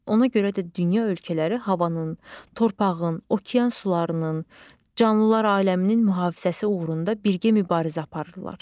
Ona görə də dünya ölkələri havanın, torpağın, okean sularının, canlılar aləminin mühafizəsi uğrunda birgə mübarizə aparırlar.